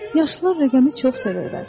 Yaşlılar rəqəmi çox sevirlər.